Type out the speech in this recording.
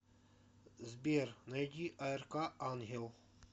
сбер найди аэрка ангел